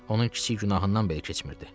Onun kiçik günahından belə keçmirdi.